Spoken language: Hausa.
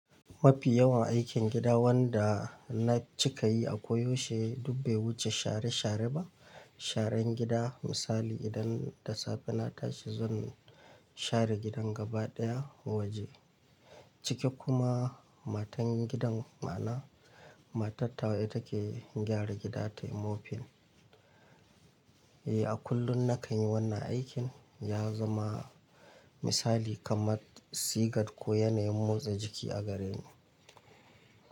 Mafi yawan aikin gida wanda na cika yi a koyaushe duk bai wuce share share ba. Sharan gida misali idan da safe na tashi zan share gidan gaba ɗaya waje ciki kuma matan gidan ma'ana matar tawa ita ke gyara gida tayi mopping. Eh a kullum na kanyi wannan aikin ya zama misali kamar sigat ko yanayin motsa jiki a gareni.